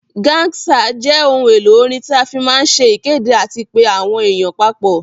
Gangsa jẹ ohun èlò orin tí a fí máa ń se ìkéde àti pé àwọn èèyàn papọ̀